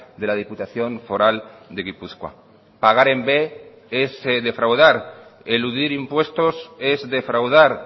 de la diputación foral de gipuzkoa pagar en b es defraudar eludir impuestos es defraudar